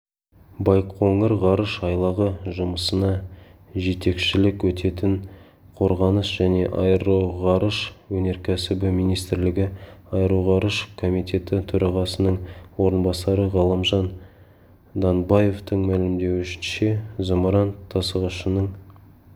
байқоңыр ғарыш айлағы жұмысына жетекшілік ететін қорғаныс және аэроғарыш өнеркәсібі министрлігі аэроғарыш комитеті төрағасының орынбасары ғалымжан данбаевтың мәлімдеуінше зымыран тасығышының